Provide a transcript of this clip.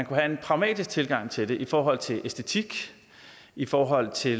have en pragmatisk tilgang til det i forhold til æstetik og i forhold til